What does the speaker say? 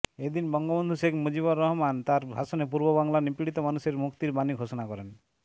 এদিন বঙ্গবন্ধু শেখ মুজিবুর রহমান তার ভাষণে পূর্ববাংলার নিপীড়িত মানুষের মুক্তির বাণী ঘোষণা করেন